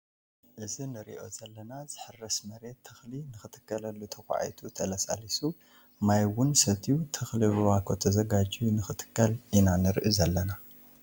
እዚ ንሪኦ ዘለና ዝሕረሰ መሬት ተክሊ ንክተክሉሉ ተካዒቱ ተለሳሊሱ ማይ እውን ሰትዩ ተክሊ ብባኮ ተዘጋጅዩ ንክትከል ኢና ንርኢ ዘለና ።